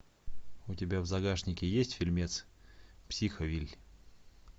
у тебя в загашнике есть фильмец психовилль